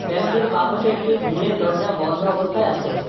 Bank টির বাপাশে একটি গ্রিলের এর দরজা বন্ধ অবস্থায় আছে।